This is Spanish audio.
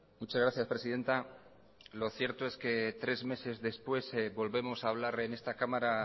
muchas gracias presidenta lo cierto es que tres meses después volvemos a hablar en esta cámara